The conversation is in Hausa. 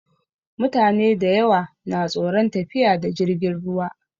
Mutane dayawa na tsoron tafiya da jirgin ruwa